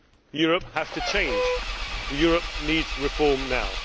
Europe has to change. Europe needs reform now.